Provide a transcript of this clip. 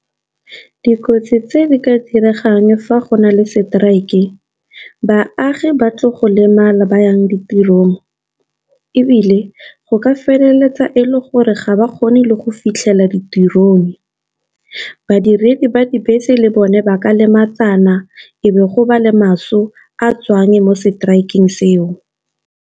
Dikotsi tse di ka diregang fa go na le strike-e baagi ba tlo go lemala ba yang ditirong. Ebile go ka feleletsa e le gore ga ba kgone le go fitlhela ditirong, badiredi ba dibese le bone ba ka lematsana, e be go ba le maso a tswang mo strike-eng seo.